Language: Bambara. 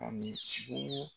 Kabini bugu